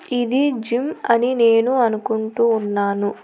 ఇది జిమ్ అని నేను అనుకుంటూ ఉన్నాను.